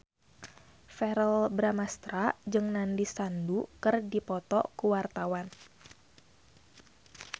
Verrell Bramastra jeung Nandish Sandhu keur dipoto ku wartawan